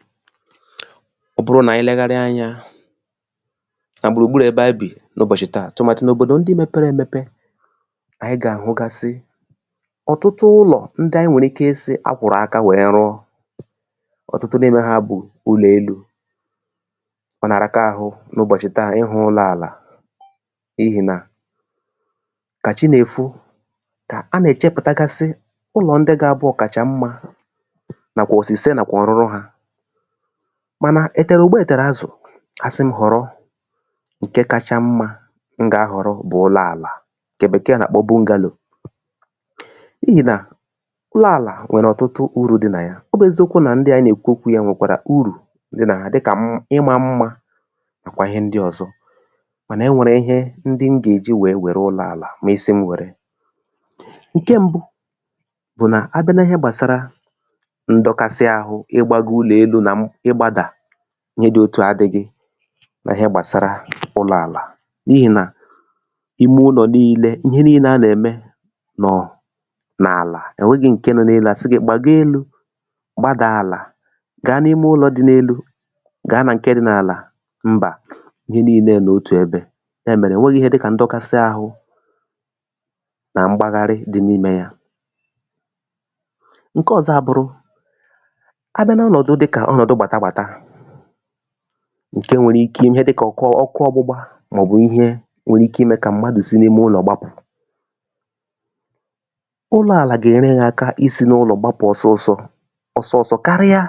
file 125 ọ bụrụ nà anyị lẹgharịa anyā nà gbùrù gburù ẹbẹ anyị bì n’ụbọ̀chị̀ tà tụ̀màdị̀ n’òbòdò ndị mẹpẹrẹ ẹmẹpẹ ànyị gà àhụgasị ọ̀tụtụ ụlọ̀ ndị anyị nwẹ̀rẹ̀ ike ịsị̄ a kwọ̀rọ̀ aka wẹ rụọ ọ̀tụtụ n’ime ha bụ̀ ụlọ̀ elū mànà ọ nà àhịaka ahụ n’ụbọ̀chị̀ tà ịfụ̄ ụlọ̄ àlà n’ihì nà kà chi nà èfo kà a nà ẹ̀chẹpụ̀tagasị ụnọ̀ ndị ga abụ ọ̀kàchàmmā nàkwà ọ̀sị̀sẹ nàkwà ọ̀rụrụ hā mànà ẹtẹ̀rẹ̀ùgbo ẹ̀tẹ̀rẹ̀ azụ̀ asịm họ̀rọ ǹkẹ kacha mmā m gà ahọ̀rọ bụ̀ ụlọ̄ ànà ǹkẹ Bẹ̀kẹẹ nà àkpọ bungālò n’ihì nà ụlọ̄ àlà nwẹ̀rẹ̀ ọ̀tụtụ urū dị nà ya ọ bụ̄ eziokwu nà ndị à anyị nà èkwu okwū ya nwẹ̀kwàrà urù dị nà ha dịkà nà ịmā mmā nàkwà ịhẹ ndị ọ̀zọ mànà ẹ nwẹ̀rẹ̀ ịhẹ ndị m gà èji wẹ wẹ̀rẹ ụlọ̄ àlà mà ị sị m̄ wẹ̀rẹ ǹke mbụ bụ̀ nà abịa na ịhẹ gbàsara ndọkasị ahụ ị gbago ụlọ̀ elū nà ị gbādà ịhe dị otùà adị̄ghị na ịhẹ gbàsara ụlọ̄ àlà n’ihì nà ime ụlọ̀ nille ihe nille a nà ẹ̀mẹ n’àlà ẹ̀ nwẹghị̄ ǹkẹ nọ n’elū àsị gị gbago elu gbada àlà ga n’ime ụlọ̄ dị n’elū gà nà ǹkẹ dị n’àlà mbà ịhẹ nille nọ̀ otù ẹbẹ̄ yà mẹ̀rẹ ò nwerọ ịhẹ dịkà ndọkasị ahụ nà mgbagharị dị n’imē ya ǹkẹ ọzọ a bụrụ a bịa n’ọnọ̀dụ dịkà ọnọ̀dụ gbàta gbàta ǹke nwere ike ịhẹ dịkà ọkụ ọgbụgba mà ọ̀ bụ̀ ihẹ nwere ike ịmẹ̄ kà m̀madù si n’ime ụlọ̀ gbapụ̀ ụlọ̄ àlà gà ẹ̀nyẹrẹ ya aka isī n’ụlọ̀ gbapụ̀ ọsọ ọsọ ọsọ ọsọ karịa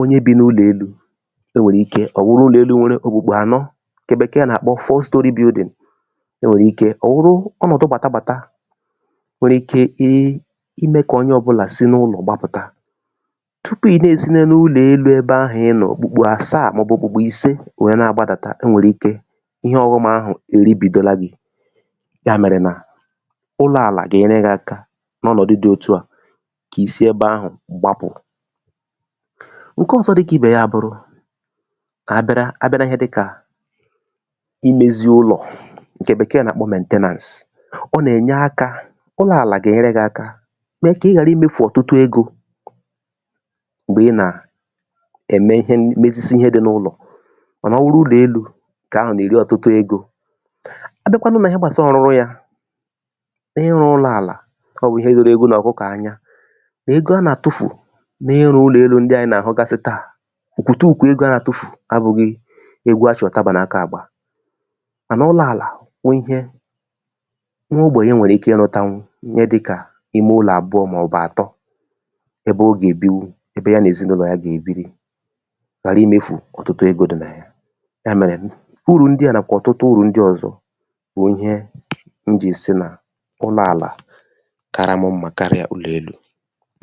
onye bi n’ụlọ̀ elū e nwèrè ike ọ̀ wụrụ ụlọ̀ elū nwẹrẹ ògbògbò ànọ ǹkẹ̀ Bẹkẹ nà àkpọ fọ stori byudị̀n ẹ nwẹ̀rẹ̀ ike ọ̀ wụrụ ọnọ̀dụ gbàta gbàta nwere ike I ị mẹ kà onye ọbụnà si n’ụlọ̀ gbapụ̀ta tupù ị̀ nà èsi n’elu ụlọ̀ elū ebẹ ahụ̀ ị nọ̀ òkpùkpò àsàà mà ọ̀ bụ̀ òkpùkpò ìʃe wẹ nà àgbadàta ẹ nwẹ̀rẹ̀ ike ịhe ọ̀ghọm ahụ̀ èribìdola gī yà mẹ̀rẹ̀ nà ụlọ̄ àlà gà ẹnyẹrẹ gị aka n’ọnọ̀du dị otuà ìsi ebe ahụ̀ gbapụ̀ ǹkẹ ọzọ dịkà ibè yà bù kà a bịara a bịa na ịhẹ dịkà imēzi ụlọ̀ ǹkẹ̀ Bẹ̀kẹ̀ nà àkpọ mẹ̀ntẹnàns o nà ènye akā ụlọ̄ àlà gà ẹ̀nyẹrẹ gị aka mẹ kà ị ghàrà I mefù ọ̀tụtụ egō m̀gbẹ ị nà ẹmẹ ịhẹ mezizi ịhẹ dị n’ime ụlọ̀ mànà ọ wụrụ ụlọ̀ elū ǹkẹ̀ ahụ̀ nà èri ọ̀tụtụ egō abịakwanụ na ịhẹ gbàsara ọrụrụ yā ịrụ ụlọ̄ àlà ọ wụ ihe ruru ewu nà ọ̀kụkọ̀ anya nà ego a nà àtufu n’ịrụ̄ ụlọ̀ elū ndịa anyị nà àhụgasị tà òkwòtùkwò egō a nà àtufù abụghị egwu a chị̀ ùtabà n’aka àgba mànà ụlọ̄ àlà wụ ịhẹ nwa ogbènye nwèrè ike ị rụtanwu ịhẹ dịkà ime ụlọ̀ àbụọ mà ọ̀ bụ̀ àtọ ẹbẹ o gà èbinwu ẹbẹ y anà èzinụlọ̀ ya gà èbiri ghàra imēfù ọ̀tụtụ egō dị nà ya yà mẹ̀rẹ̀ ụrụ̀ ndị à nakwà ọ̀tụtụ urù ndị ọzọ bụ̀ ịhẹ m jì sị nà ụlọ̄ àlà kara m mmā karịa ụlọ̀ elū